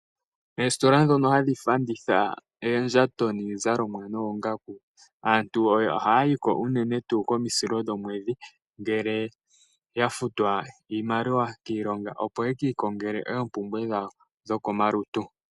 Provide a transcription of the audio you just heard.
Oositola ndhono hadhi fanditha oondjato niizalomwa noongaku, aantu oha ya yiko unene komisilo dhomwedhi, ngele yafutwa iimaliwa kiilonga opo ye kiikongele oompumbwe dhawo dho ko malutu.